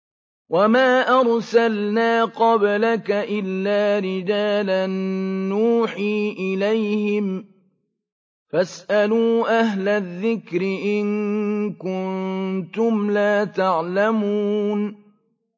وَمَا أَرْسَلْنَا قَبْلَكَ إِلَّا رِجَالًا نُّوحِي إِلَيْهِمْ ۖ فَاسْأَلُوا أَهْلَ الذِّكْرِ إِن كُنتُمْ لَا تَعْلَمُونَ